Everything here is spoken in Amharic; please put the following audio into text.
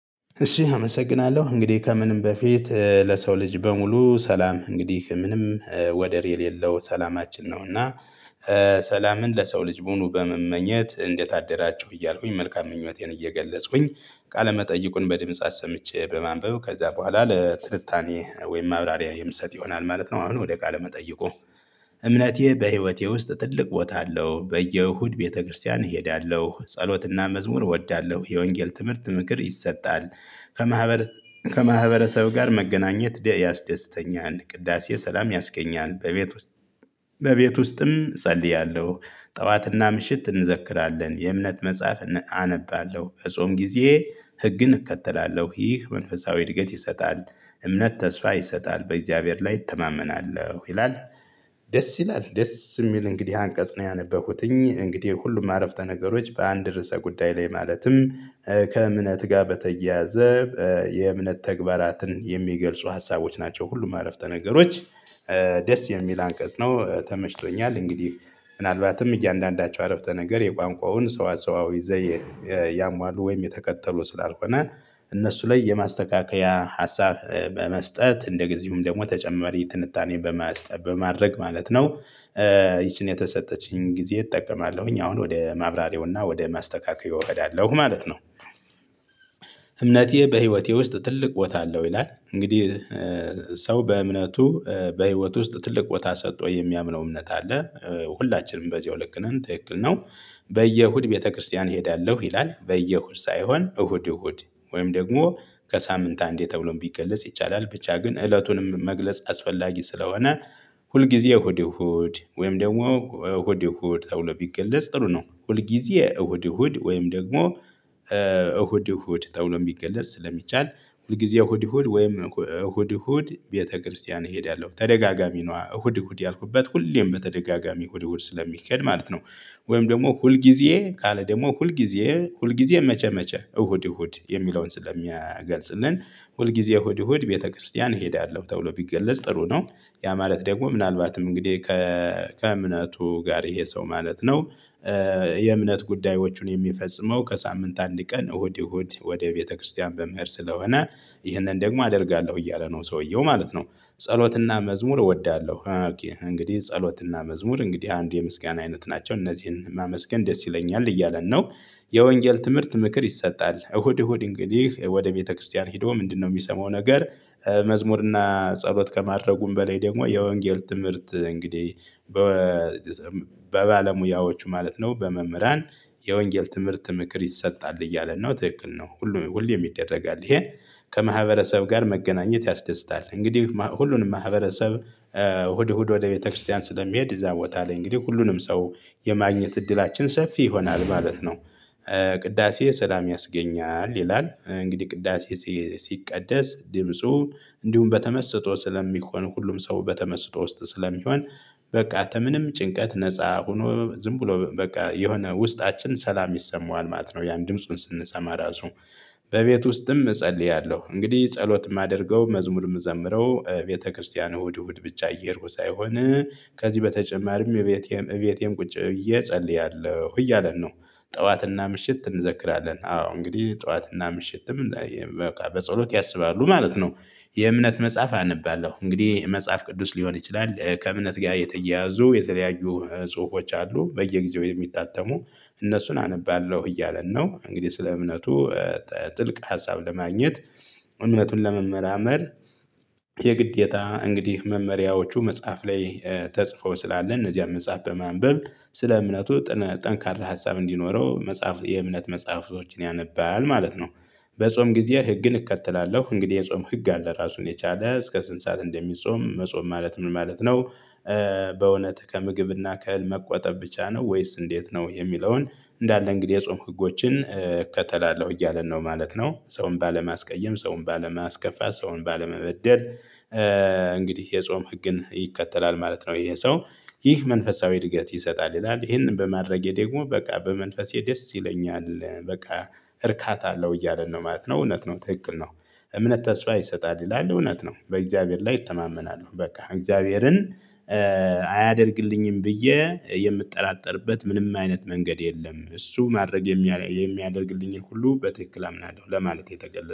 እሺ አመሰግናለሁ እንግዲህ ከምንም በፊት ለሰው ልጅ በሙሉ ሰላም እንግዲህ ምንም ወደር የሌለው ሰላማችን ነው እና ሰላምን ለሰው ልጅ ሙሉ በመመኘት እንዴት አደራቸው እያልኩኝ መልካም ምኞቴን እየገለጽሁኝ ቃለመጠይቁን በድምጽ አሰምቼ በማንበብ ከዛ በኋላ ለትልታኔ ወይም ማብራሪያ የምሰጥ ይሆናል ማለት ነው። አሁን ወደ ቃለ መጠይቁ። እምነቴ በህይወቴ ውስጥ ትልቅ ቦታ አለው በየእሁድ ቤተክርስቲያን እሄዳለሁ ጸሎትና መዝሙር እወዳለሁ የወንጌል ትምህርት ምክር ይሰጣል። ከማህበረሰብ ከማህበረሰብ ጋር መገናኘት ያስደስተኛል ቅዳሴ ሰላም ያስገኛል በቤት ውስጥ በቤት ውስጥም እጸልያለሁ። ጠዋትና ምሽት እንዘክራለን የእምነት መጽሐፍ አነባለሁ ከጾም ጊዜ ህግን እከተላለሁ ይህ መንፈሳዊ እድገት ይሰጣል። እምነት ተስፋ ይሰጣል በእግዚአብሔር ላይ እተማመናለሁ ይላል። ደስ ይላል ደስ የሚል እንግዲህ አንቀጽ ነው ያነበብኩት እንግዲህ ሁሉም አረፍተ ነገሮች በአንድ ርዕሰ ጉዳይ ላይ ማለትም። ከእምነት ጋር በተያያዘ የእምነት ተግባራትን የሚገልጹ ሀሳቦች ናቸው። ሁሉም አረፍተ ነገሮች። ደስ የሚል አንቀጽ ነው ተመሽቶኛል እንግዲህ ምናልባትም እያንዳንዳቸው አረፍተ ነገር የቋንቋውን ሰዋሰዋዊ ዘይ ያሟሉ ወይም የተከተሉ ስላልሆነ። እነሱ ላይ የማስተካከያ ሀሳብ በመስጠት እንደጊዜውም ደግሞ ተጨማሪ ትንታኔን በማስጠብ በማድረግ ማለት ነው። ይቺን የተሰጠችኝን ጊዜ እጠቀማለሁኝ አሁን ወደ ማብራሪያውና ወደ ማስተካከያው እሄዳለሁ ማለት ነው። እምነቴ በህይወቴ ውስጥ ትልቅ ቦታ አለው ይላል እንግዲህ። ሰው በእምነቱ በህይወት ውስጥ ትልቅ ቦታ ሰጥቶ የሚያምነው እምነት አለ። ሁላችንም በዚሁ ልክ ነን ትክክል ነው። በየእሁድ ቤተክርስቲያን እሄዳለሁ ይላል በየእሁድ ሳይሆን እሁድ እሁድ ወይም ደግሞ ከሳምንት አንዴ ተብሎም ቢገለጽ ይቻላል ብቻ ግን እለቱንም መግለጽ አስፈላጊ ስለሆነ። ሁልጊዜ እሁድ እሁድ ወይም ደግሞ እሁድ እሁድ ተብሎ ቢገለጽ ጥሩ ነው። ሁልጊዜ እሁድ እሁድ ወይም ደግሞ እሁድ እሁድ ተብሎ የሚገለጽ ስለሚቻል ሁልጊዜ እሁድ እሁድ ወይም እሁድ እሁድ ቤተክርስቲያን እሄዳለሁ ተደጋጋሚ ነው እሁድ እሁድ ያልኩበት ሁሌም በተደጋጋሚ እሁድ እሁድ ስለሚከድ ማለት ነው። ወይም ደግሞ ሁል ጊዜ ካለ ደግሞ ሁል ጊዜ ሁል ጊዜ መቼ መቼ እሁድ እሁድ የሚለውን ስለሚገልጽልን ሁል ጊዜ እሁድ እሁድ ቤተክርስቲያን እሄዳለሁ ተብሎ ቢገለጽ ጥሩ ነው። ያ ማለት ደግሞ ምናልባትም እንግዲህ ከእምነቱ ጋር ይሄ ሰው ማለት ነው። የእምነት ጉዳዮችን የሚፈጽመው ከሳምንት አንድ ቀን እሁድ እሁድ ወደ ቤተክርስቲያን በመሄድ ስለሆነ። ይህንን ደግሞ አደርጋለሁ እያለ ነው ሰውየው ማለት ነው። ጸሎትና መዝሙር እወዳለሁ። እንግዲህ ጸሎትና መዝሙር እንግዲህ አንድ የምስጋና አይነት ናቸው እነዚህን ማመስገን ደስ ይለኛል እያለን ነው። የወንጌል ትምህርት ምክር ይሰጣል እሁድ እሁድ እንግዲህ ወደ ቤተክርስቲያን ሄዶ ምንድነው የሚሰማው ነገር? መዝሙርና ጸሎት ከማድረጉም በላይ ደግሞ የወንጌል ትምህርት እንግዲህ። በባለሙያዎቹ ማለት ነው በመምህራን የወንጌል ትምህርት ምክር ይሰጣል እያለ ነው ትክክል ነው ሁሉ ሁሉ ይደረጋል ይሄ። ከማህበረሰብ ጋር መገናኘት ያስደስታል እንግዲህ ሁሉንም ማህበረሰብ እሁድ እሁድ ወደ ቤተክርስቲያን ስለሚሄድ እዛ ቦታ ላይ እንግዲህ ሁሉንም ሰው የማግኘት እድላችን ሰፊ ይሆናል ማለት ነው። ቅዳሴ ሰላም ያስገኛል ይላል እንግዲህ ቅዳሴ ሲቀደስ ድምፁ እንዲሁም በተመስጦ ስለሚቆን ሁሉም ሰው በተመስጦ ውስጥ ስለሚሆን። በቃ ምንም ጭንቀት ነፃ ሆኖ ዝም ብሎ በቃ የሆነ ውስጣችን ሰላም ይሰማዋል ማት ነው። ያን ድምፁን ስንሰማ ራሱ። በቤት ውስጥም እጸልያለሁ እንግዲህ ጸሎት የማደርገው መዝሙርም እምዘምረው ቤተክርስቲያን እሁድ እሁድ ብቻ እየሄድኩ ሳይሆን። ከዚህ በተጨማሪም እቤቴም እቤቴም ቁጭ እየጸለያለሁ እያለን ነው። ጠዋትና ምሽት እንዘክራለን አዎ እንግዲህ ጠዋትና ምሽትም በቃ በጸሎት ያስባሉ ማለት ነው። የእምነት መጽሐፍ አነባለሁ እንግዲህ መጽሐፍ ቅዱስ ሊሆን ይችላል ከእምነት ጋር የተያያዙ የተለያዩ ጽሁፎች አሉ በየጊዜው የሚታተሙ። እነሱን አነባለሁ እያለን ነው እንግዲህ ስለ እምነቱ። ጥልቅ ሀሳብ ለማግኘት እምነቱን ለመመራመር የግዴታ እንግዲህ መመሪያዎቹ መጽሐፍ ላይ ተጽፈው ስላለ እነዚህም መጽሐፍ በማንበብ ስለ እምነቱ ጠንካራ ሀሳብ እንዲኖረው የእምነት መጽሐፍቶችን ያነባል ማለት ነው። በጾም ጊዜ ህግ እከተላለሁ እንግዲህ የጾም ህግ አለ ራሱን የቻለ እስከ ስንት ሰዓት እንደሚጾም መጾም ማለት ምን ማለት ነው? በእውነት ከምግብና ከእህል መቆጠብ ብቻ ነው ወይስ እንዴት ነው የሚለውን? እንዳለ እንግዲህ የጾምክ ህጎችን እከተላለሁ እያለን ነው ማለት ነው። ሰውን ባለማስቀየም ሰውን ባለማስከፋት ሰውን ባለመበደል። እንግዲህ የጾም ህግን ይከተላል ማለት ነው ይሄ ሰው። ይህ መንፈሳዊ እድገት ይሰጣል ይላል ይሄንን በማድረጌ ደግሞ በቃ በመንፈሴ ደስ ይለኛል በቃ እርካታ አለው እያለ ነው ማለት ነው እውነት ነው ትክክል ነው። እምነት ተስፋ ይሰጣል ይላል እውነት ነው በእግዚአብሔር ላይ እተማመናሉ በቃ እግዚአብሔርን። አያደርግልኝም ብዬ የምጠራጠርበት ምንም አይነት መንገድ የለም እሱ ማድረግ የሚያደርግልኝን ሁሉ በትክክል አምናለሁ ለማለት የተገለጸው